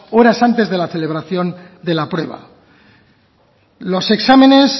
horas antes de la celebración de la prueba los exámenes